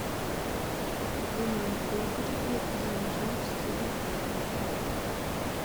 в винном погребе замьють телевизора